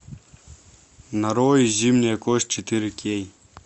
нарой зимняя кость четыре кей